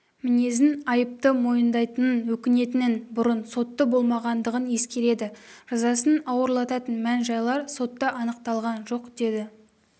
мінезін айыпты мойындайтынын өкінетінін бұрын сотты болмағандығын ескереді жазасын ауырлататын мән-жайлар сотта анықталған жоқ деді